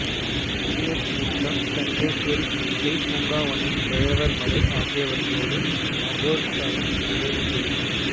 தேர் தீர்த்தம் சண்டேஸ்வரி பூசை பூங்காவனம் வைரவர்மடை ஆகியவற்றோடு மகோற்சவம் நிறைவுபெறும்